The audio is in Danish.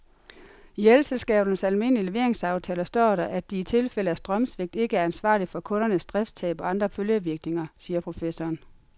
I elselskabernes almindelige leveringsaftaler står der, at de i tilfælde af strømsvigt ikke er ansvarlig for kundernes driftstab og andre følgevirkninger, siger professoren.